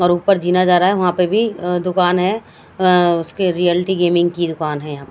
और ऊपर जीना जा रहा है वहां पे भी अह दुकान है अह उसकी रियल्टी गेमिंग की दुकान है यहां।